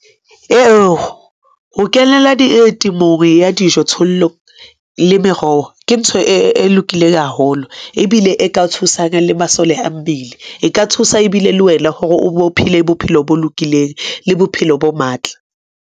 Ho kenela ditemong ya dijo-thollo le meroho, ke ntho e lokileng haholo ebile e ka thusang le masole a mmele. E ka thusa ebile le wena hore o phele. Bophelo bo lokileng le bophelo bo matla.